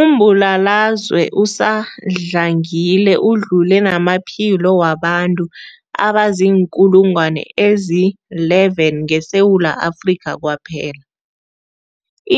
Umbulalazwe usadlangile udlule namaphilo wabantu abaziinkulungwana ezi-11 ngeSewula Afrika kwaphela.